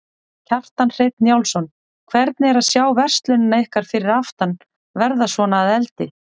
Kjartan Hreinn Njálsson: Hvernig er að sjá verslunina ykkar fyrir aftan verða svona að eldi?